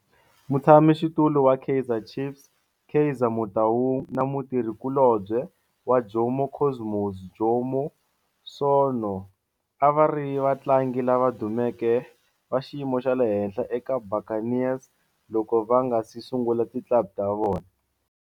Mutshama xitulu wa Kaizer Chiefs Kaizer Motaung na mutirhi kulobye wa Jomo Cosmos Jomo Sono a va ri vatlangi lava dumeke va xiyimo xa le henhla eka Buccaneers loko va nga si sungula ti club ta vona.